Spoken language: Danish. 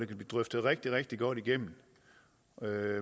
blive drøftet rigtig rigtig godt igennem